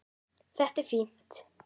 Þetta er fínt.